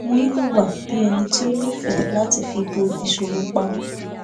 wọn hùwà bí ẹni tí ó nífèé láti fi bò ìṣòro pamọ